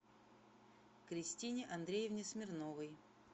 кристине андреевне смирновой